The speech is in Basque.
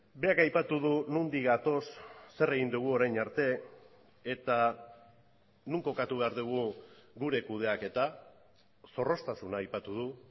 berak aipatu du nondik gatoz zer egin dugu orain arte eta non kokatu behar dugu gure kudeaketa zorroztasuna aipatu du